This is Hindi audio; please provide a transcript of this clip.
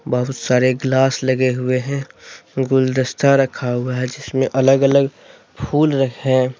बहुत सारे ग्लास लगे हुए है गुलदस्ता रखा हुआ है जिस में अलग अलग फूल रखे हैं।